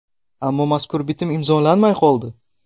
Ammo mazkur bitim imzolanmay qoldi.